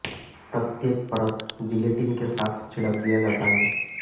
प्रत्येक परत जिलेटिन के साथ छिड़क दिया जाता है